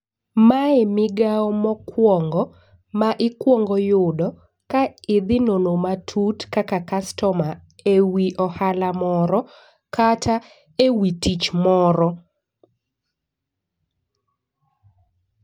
Mae migawo mokwongo ma ikwongo yudo ka idhi nono matut kaka kastoma ewi ohala moro kata ewi tich moro